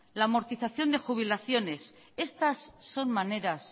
la amortización de jubilaciones estas son maneras